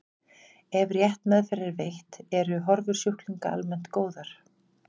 ef rétt meðferð er veitt eru horfur sjúklinga almennt góðar